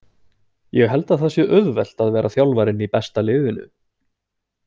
Ég held að það sé auðvelt að vera þjálfarinn í besta liðinu.